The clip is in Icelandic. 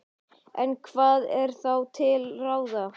En hvað er þá til ráða?